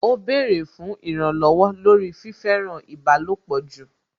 Ó bẹ̀rẹ̀ fún ìrànlọ̀wọ̀ lórí fífẹ́ràn ìbálòpọ̀ jù